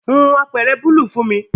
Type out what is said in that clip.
Hun apeere bùúlù fun mi